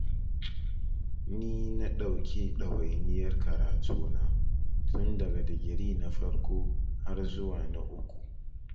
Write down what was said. Ni na ɗauki ɗawainiyar karatuna, tun daga digiri na farko har zuwa na uku.